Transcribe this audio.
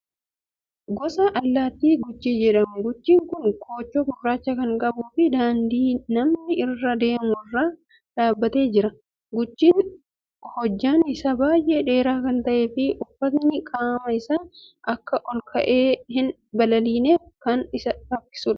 Gosa allaattii Guchii jedhamu. Guchiin kun koochoo gurraacha kan qabuu fi daandii namni irra deemu irra dhaabbatee jira. Guchiin hojjaan isaa baay'ee dheeraa kan ta'ee fi ulfaatinni qaama isaa akka olka'ee hin balaliineef kan isa rakkisudha.